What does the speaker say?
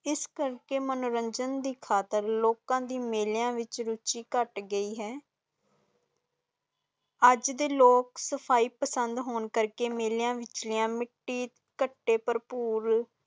ਇਸ ਕਰਕੇ ਮਨੋਰੰਜਨ ਦੇ ਖਾਤਿਰ ਲੋਕਾਂ ਦੀ ਮੇਲਿਆਂ ਦੀ ਰੁਚੀ ਕੱਟ ਅਜੇ ਦੇ ਲੋਕ ਦਸਫਾਈ ਪਸੰਦ ਹੋਣ ਕਰਕੇ ਮੇਲਿਆਂ ਵਿਚ, ਮਿੱਟੀ ਕਥੇ ਪਰਪੂਰ